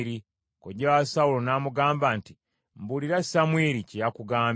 Kojja wa Sawulo n’amugamba nti, “Mbuulira Samwiri kye yakugambye.”